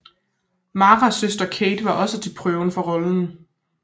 Maras søster Kate var også til prøve for rollen